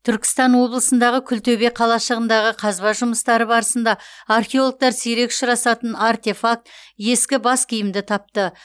түркістан облысындағы күлтөбе қалашығындағы қазба жұмыстары барысында археологтар сирек ұшырасатын артефакт ескі бас киімді тапты